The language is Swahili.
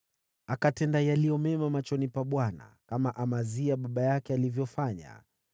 Akatenda yaliyo mema machoni pa Bwana , kama Amazia baba yake alivyofanya.